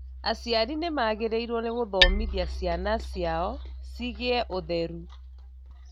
Aciari nĩmagĩrĩirwo nĩgũthomithia ciana ciao ciĩgiĩ ũtheru